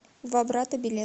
два брата билет